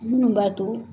Minnu b'a to